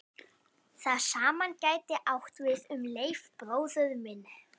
Það sama gæti átt við um Leif bróður minn.